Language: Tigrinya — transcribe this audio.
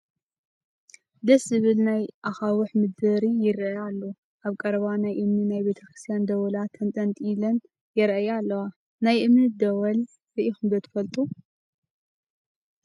ደስ ዝብል ናይ ኣካውሕ ምድሪ ይርአ ኣሎ፡፡ ኣብ ቀረባ ናይ እምኒ ናይ ቤተ ክርስቲያን ደወላት ተንጠልጢለን ይርአያ ኣለዋ፡፡ ናይ እምኒ ደወል ርኢኹም ዶ ትፈልጡ?